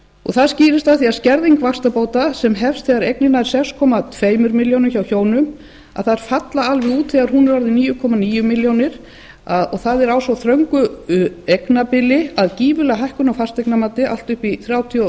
það skýrist af því að skerðing vaxtabóta sem hefst þegar eignin nam sex komma tvær milljónir hjá hjónum að þær falla alveg út þegar hún er orðin níu komma níu milljónir og það er á svo þröngu eignabili að gífurleg hækkun á fasteignamati allt upp í þrjátíu